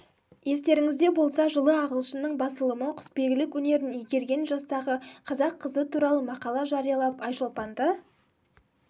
естеріңізде болса жылы ағылшынның басылымы құсбегілік өнерін игерген жастағы қазақ қызы туралы мақала жариялап айшолпанды